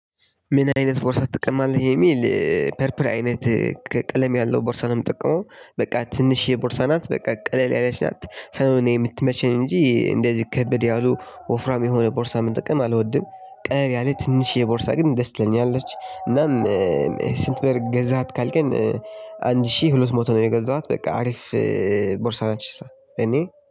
ምን አይነት ቦርሳ ትጠቀማለህ የሚል ፐርፕል አይነት ቀለም ያለው ቦርሳ ነው የጠቀመው በቃ ትንሽየ የቦርሳ ናት በቃ ቀለል ያለች ናት ሰው ነው የምትመችኝ እንጂ እንደዚህ ከበድ ያሉ ወፍራም የሆነ ቦርሳ ምጠጠቀም አልወድም ቀለል ያለ ትንሽየ ቦርሳ ግን ደስ ትለኛለች እናም። ስንት ብር ገዛሃት? ካከኝን ግን አንድ ሺህ ሁለት ሞት ነው የገዛኋት በቃ አሪፍ ቦርሳ ነች። እኔ